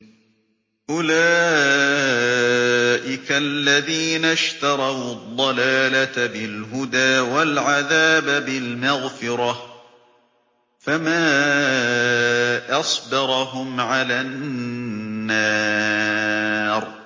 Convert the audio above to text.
أُولَٰئِكَ الَّذِينَ اشْتَرَوُا الضَّلَالَةَ بِالْهُدَىٰ وَالْعَذَابَ بِالْمَغْفِرَةِ ۚ فَمَا أَصْبَرَهُمْ عَلَى النَّارِ